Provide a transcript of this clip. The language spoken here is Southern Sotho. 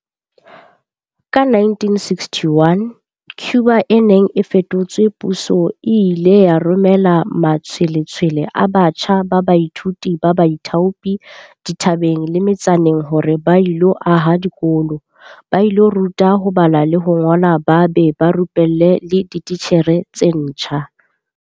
Ka 1961, Cuba e neng e fetotse puso e ile ya romela matshwe-letshwele a batjha ba baithuti ba baithaopi dithabeng le me-tsaneng hore ba ilo aha dikolo, ba ilo ruta ho bala le ho ngola ba be ba rupelle le dititjhere tse ntjha.